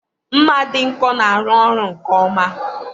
Ḿmà dị nkọ na-arụ ọrụ nke ọma.